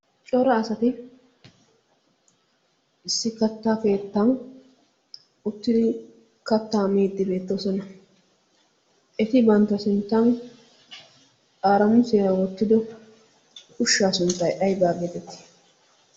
cora asati issi katta keettan uttidi kattaa miiddi beettoosona. eti bantta sinttan aaramu seea wottido ushshaa sunttai aibaa geetetti?